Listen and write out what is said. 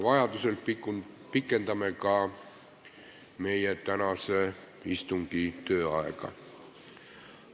Vajadusel pikendame tänase istungi tööaega.